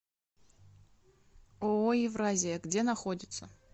ооо евразия где находится